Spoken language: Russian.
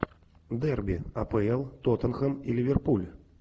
дерби апл тоттенхэм и ливерпуль